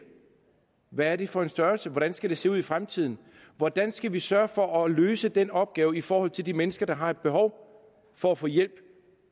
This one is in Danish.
hvad er det for en størrelse hvordan skal det se ud i fremtiden hvordan skal vi sørge for at løse den opgave i forhold til de mennesker der har et behov for at få hjælp